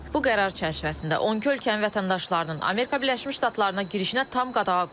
Bu qərar çərçivəsində 12 ölkənin vətəndaşlarının Amerika Birləşmiş Ştatlarına girişinə tam qadağa qoyulub.